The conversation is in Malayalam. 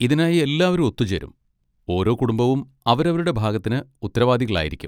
ഇതിനായി എല്ലാവരും ഒത്തുചേരും, ഓരോ കുടുംബവും അവരവരുടെ ഭാഗത്തിന് ഉത്തരവാദികളായിരിക്കും.